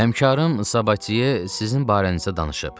Həmkarım Sabatye sizin barənizə danışıb.